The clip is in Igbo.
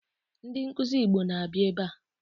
Ndi nkuzi Igbo na-abịa ebe a